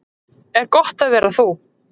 Er gott að vera þú?